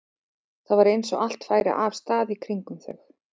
Það var eins og allt færi af stað í kringum þau.